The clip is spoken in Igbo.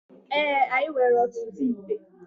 Ee, anyị nwere ọtụtụ íté